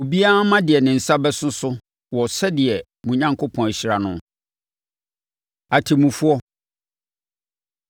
Obiara mma deɛ ne nsa bɛso so wɔ sɛdeɛ Awurade mo Onyankopɔn ahyira no. Atemmufoɔ